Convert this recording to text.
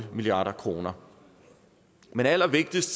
milliard kroner men allervigtigst